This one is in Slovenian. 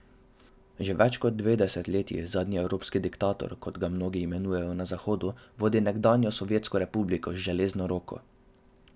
Že več kot dve desetletji zadnji evropski diktator, kot ga mnogi imenujejo na Zahodu, vodi nekdanjo sovjetsko republiko z železno roko.